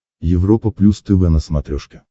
европа плюс тв на смотрешке